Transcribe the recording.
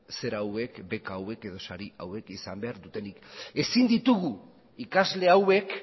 beka hauek edo sari hauek izan behar dutenik ezin ditugu ikasle hauek